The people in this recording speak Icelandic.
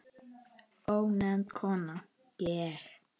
Ónefnd kona: Ég?